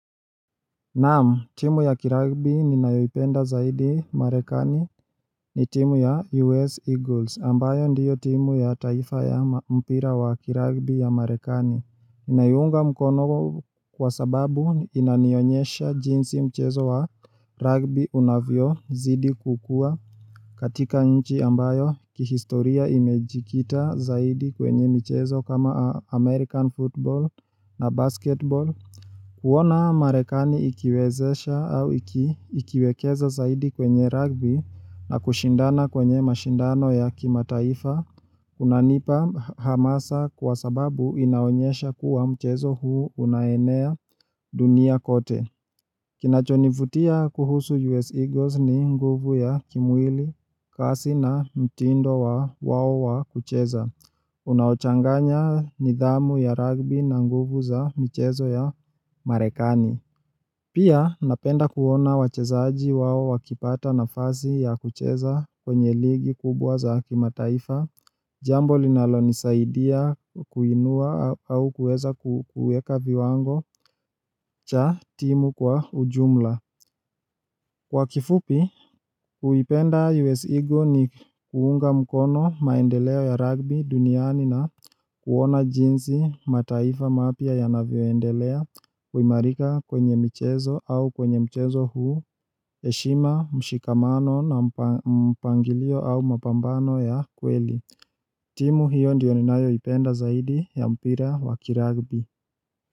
Naam, timu ya kiragbi ninayopenda zaidi marekani ni timu ya US Eagles ambayo ndiyo timu ya taifa ya mpira wa kiragbi ya marekani ninaiunga mkono Kwa sababu inanionyesha jinsi mchezo wa ragbi unavyo zidi kukua katika nchi ambayo kihistoria imejikita zaidi kwenye mchezo kama American Football na Basketball kuona marekani ikiwezesha au ikiwekeza zaidi kwenye rugby na kushindana kwenye mashindano ya kimataifa unanipa hamasa kwa sababu inaonyesha kuwa mchezo huu unaenea dunia kote. Kinachonivutia kuhusu US Eagles ni nguvu ya kimwili kasi na mtindo wao wa kucheza. Unaochanganya nidhamu ya rugby na nguvu za michezo ya marekani. Pia napenda kuona wachezaji wao wakipata nafasi ya kucheza kwenye ligi kubwa za kimataifa, jambo linalonisaidia kuinua au kueza kueka viwango cha timu kwa ujumla. Kwa kifupi, huipenda US Eagle ni kuunga mkono maendeleo ya rugby duniani na kuona jinsi mataifa mapia ya navioendelea, kuimarika kwenye mchezo au kwenye mchezo huu, heshima, mshikamano na mpangilio au mapambano ya kweli. Timu hiyo ndiyo ninayoipenda zaidi ya mpira wakirugbi.